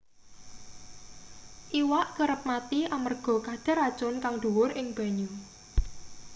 iwak kerep mati amarga kadar racun kang dhuwur ing banyu